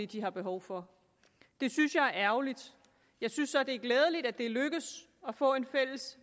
de har behov for det synes jeg er ærgerligt jeg synes så det er glædeligt at det er lykkedes at få et fælles